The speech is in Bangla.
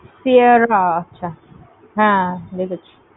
Siearra